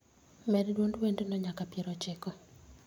med duond wendno nyaka pier ochiko